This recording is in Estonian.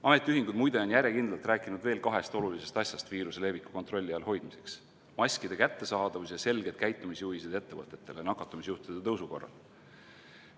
Ametiühingud, muide, on järjekindlalt rääkinud veel kahest olulisest asjast viiruse leviku kontrolli all hoidmiseks: maskide kättesaadavus ja selged käitumisjuhised ettevõtetele nakatumisjuhtude tõusu korral.